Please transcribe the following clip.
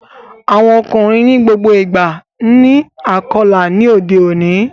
Awọn ọkunrin ni gbogbo ìgba ni Akọla ní odé òní